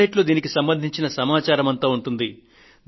web సైట్లో దీనికి సంబంధించిన సమాచారమంతా ఉంటుంది